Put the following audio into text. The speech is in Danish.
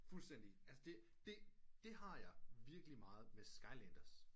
Fuldstændig altså det det har jeg virkelig meget med skylanders